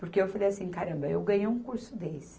Porque eu falei assim, caramba, eu ganhei um curso desse.